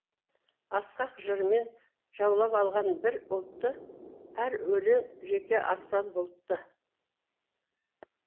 асқақ жырмен жаулап алған бір ұлтты әр өлең жеке аспан бұлтты